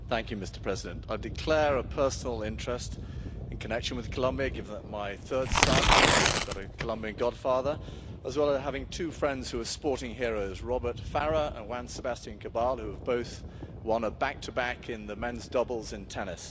Mr President, I declare a personal interest in connection with Colombia, given that my third son has got a Colombian godfather, as well as having two friends who are sporting heroes Robert Farah and Juan Sebastian Cabal, who have both won a back to back in the men's doubles in tennis.